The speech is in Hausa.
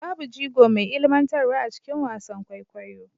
Babu jigo mai ilmantarwa a cikin wasan kwaikwayo